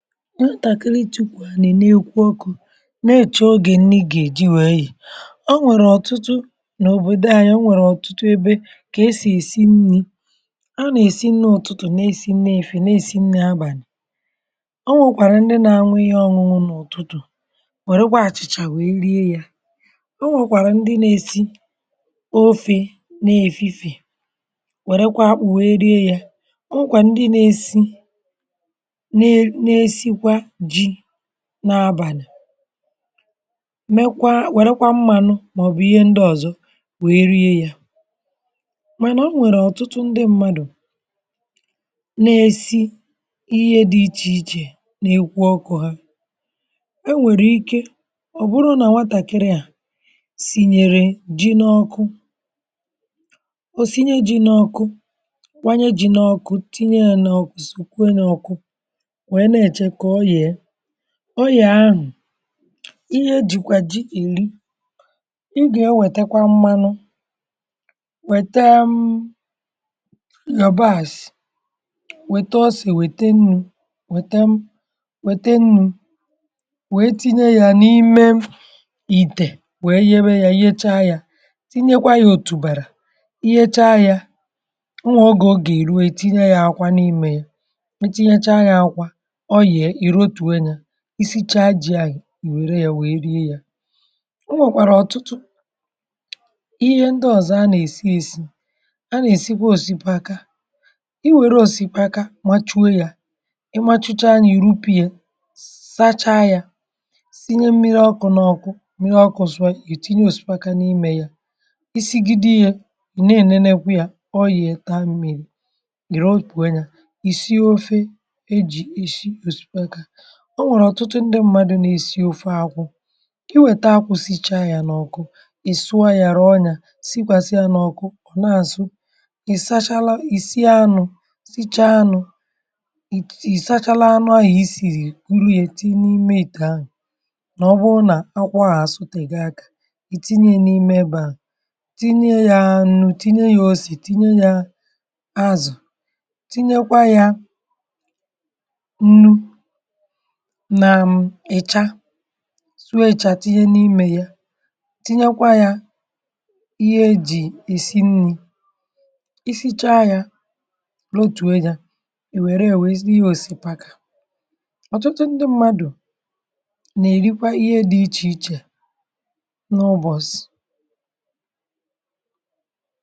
Nwatakịrị tukwu anị na ekwu ọkụ̇, na-eche oge nni ga-eji wee ye, o nwere ọtụtụ, n’òbodò anyi o nwere ọtụtụ ebe ka e si esi nni, ọ na-esi nni ụtụtụ na-esi nni efife na-esi nni abalị, o nwekwara ndị na-aṅụ ihe ọṅụṅụ n’ụ̀tụtụ̀, wèrekwa achị̀chà wee rie ya. O nwekwara ndị na-esi ofe na-efifè wèrekwa akpụ̀ wee rie ya, o nwekwara ndị na-esi, na-esikwa ji na abàni, mekwaa wèrekwa mmànụ màọbụ̀ ihe ndị ọ̀zọ wèe rie ya, mànà o nwèrè ọ̀tụtụ ndị mmadụ̀ na-esi ihe dị ichè ichè na-ekwu ọkụ ha, e nwèrè ike ọ̀ bụrụ nà nwatàkiri à sìnyèrè ji n’ọkụ, o sinye ji n’ọkụ, kwanye ji n’ọkụ tinye na ọkụ sìkwuo ya ọkụ, wee na echekwa ka o ye, ọ yee ahụ̀, ihe jìkwà ji eri, ị gà e wètekwa mmanụ, wèta um yabasì, wèta ọse wète nnù, wète um wète nnù, we tinye ya n’ime ìtè we yewe ya yecha ya, tinye kwa ya òtùbàrà. Iyecha ya, o nwè ọgè ọ gà èruwe ị tinye ya akwa n’ime ya, itinyechaa ya akwa, oru e, irotuo nye. Ịsi chaa ji̇ ahụ, i wère ya wè rie ye. O nwèkwàrà ọ̀tụtụ, ihe ndị ọ̀zọ a nà-èsi èsi; a nà-èsikwa òsipaka, i wère òsikapa machuo ya, ịmȧchụcha yà ìrupu ye, sacha ya sinye mmiri ọkụ̇ nọ̇kụ̇, mmiri ọkụ̇ sụọ ìtinye òsipaka n’imė ya. isi gịde kwe ye, ì na ènenekwa ya, ọ yė ìrotue nye, isi ofe e ji is osikapa. O nwèrè ọ̀tụtụ ndị mmadụ̇ nà-èsi ofe akwụ, i wèta akwụ̇ sichaa yȧ n’ọ̀kụ i sụọ yȧ, rụ̀ọ ya sịkwàsị yȧ n’ọ̀kụ, ọ̀ na-àsụ. Ị sachala, ì sie anụ̇, sichaa anụ̇, ì sachalụ anụ ahị̀ isìrì tinye e n’ime ìtè ahụ̀, nà ọ bụrụ nà akwụ ahụ àsụtè go akȧ, ì tinye n’ime ebe ahụ, tinye yȧ nù, tinye yȧ osè, tinye yȧ azụ̀, tinye kwa yȧ nnu, nà um ịcha sụọ ịchà tinye n’imė ye, tinyekwa ya ihe e jì èsi nni̇. Ịsicha yȧ, lọtùo yȧ, i wère yȧ wee siwe òsipaka. Ọtụtụ ndị mmadù, nà èrikwa ihe dị̇ ichè ichè, n’ụbọ̀sị.